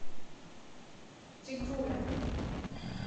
тигруля